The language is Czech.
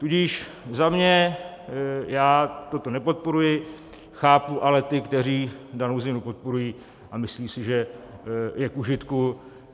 Tudíž za mě já toto nepodporuji, chápu ale ty, kteří danou změnu podporují, a myslí si, že je k užitku.